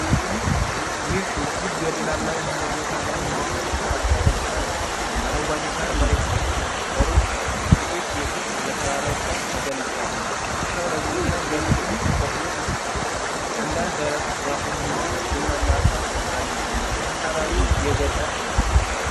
ይህ እጅግ ገደላማ የሆነ ቦታ ላይ የተሠራ የእርከን እርሻ ነው። አረንጓዴው ሣር መሬቱን ሸፍኖታል። በሩቅ ጥቂት ቤቶች በተራራው ጫፍ ተገንብተዋል። እርሻው ለግብርና እንዲያገለግል ተቆርጦ ተስተካክሏል። አንዳንድ ደረቅ ዛፎች እና ቡናማ አፈር አሉ። አካባቢው የገጠር ነው።